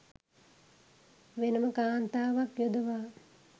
වෙනම කාන්තාවක් යොදවා